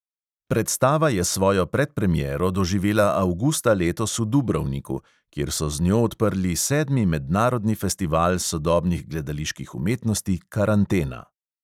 Predstava je svojo predpremiero doživela avgusta letos v dubrovniku, kjer so z njo odprli sedmi mednarodni festival sodobnih gledaliških umetnosti karantena.